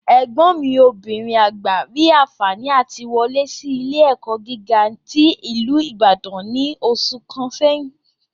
Ẹ̀gbọ́n mi obìnrin àgbà rí anfààní àti wọlé sí ilé-ẹ̀kọ́ gíga tí ìlú Ìbàdàn ní oṣù kan sẹ́yìn